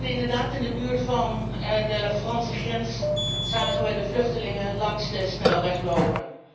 Inderdaad, in de buurt van de Franse grens zagen we de vluchtelingen langs de snelweg lopen.